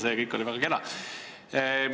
See kõik oli väga kena!